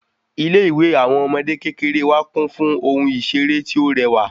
Ilé ìwé àwọn ọmọdé kékeré wá kún fún ohun iṣere ti ọ rẹwà